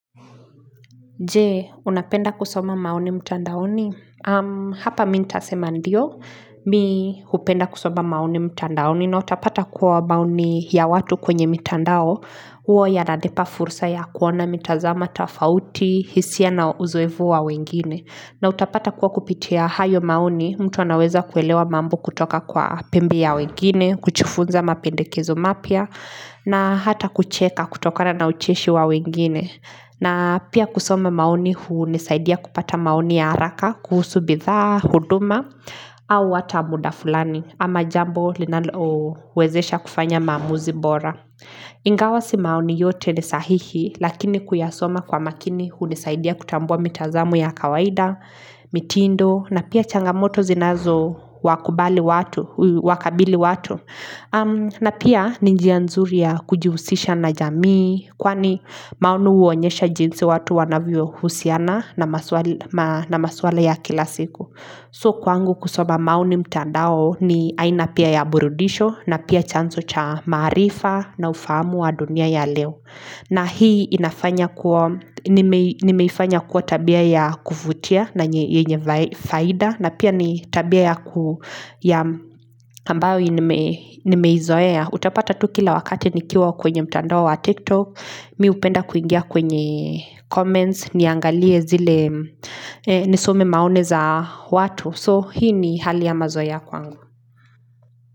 Je, unapenda kusoma maoni mtandaoni? Hapa mi nitasema ndio, mi hupenda kusoma maoni mtandaoni na utapata kuwa maoni ya watu kwenye mtandao, huo yananipa fursa ya kuona mitazamo, tofauti, hisia na uzoefu wa wengine. Na utapata kuwa kupitia hayo maoni, mtu anaweza kuelewa mambo kutoka kwa pembe ya wengine, kujifunza mapendekezo mapya, na hata kucheka kutokana na ucheshi wa wengine. Na pia kusoma maoni hunisaidia kupata maoni ya haraka, kuhusu bidhaa, huduma, au hata muda fulani ama jambo linalowezesha kufanya maamuzi bora. Ingawa si maoni yote ni sahihi lakini kuyasoma kwa makini hunisaidia kutambua mitazamo ya kawaida, mitindo na pia changamoto zinazo wakubali watu, wakabili watu. Na pia ni njia nzuri ya kujihusisha na jamii kwani maoni huonyesha jinsi watu wanavyo husiana na maswala ya kila siku. So kwangu kusoma maoni mtandao ni aina pia ya burudisho na pia chanzo cha marifa na ufahamu wa dunia ya leo na hii inafanya kuwa, nimeifanya kuwa tabia ya kuvutia na yenye faida na pia ni tabia ya ku ya ambayo nimeizoea. Utapata tu kila wakati nikiwa kwenye mtandao wa TikTok, mi hupenda kuingia kwenye comments, niangalie zile nisome maoni za watu. So hii ni hali ya mazoea kwangu.